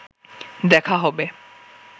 দেখা হবে